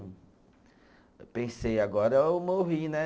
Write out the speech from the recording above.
Eu pensei, agora eu morri, né?